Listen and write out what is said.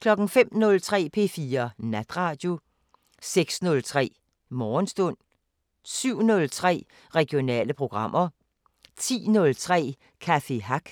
05:03: P4 Natradio 06:03: Morgenstund 07:03: Regionale programmer 10:03: Café Hack